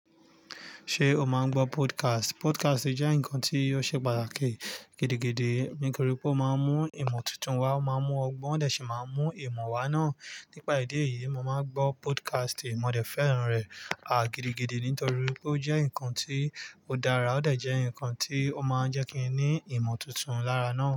Ṣé o máa ń gbọ́ podcast? Podcast jẹ́ nǹkan tí ò ṣe pàtàkì gidigidi nítorí pé ó máa ń mú ìmọ̀ tuntun wá, ó máa ń mú ọgbọ́n, o de sì máa ń mú ìmọ̀ wá náà. Nípa ìdí èyí, mo máa ń gbọ́ podcast, mọ̀ dẹ̀ fẹ́ràn rẹ̀ há gidigidi nítorí pé ó jẹ́ nǹkan tí ó dára, ó dà jẹ nǹkan tí ó máa ń jẹ́ kí i ní ìmọ̀ tuntun lára náà.